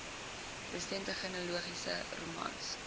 resente genealogiese romans